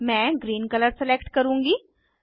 मैं green colour select करुँगी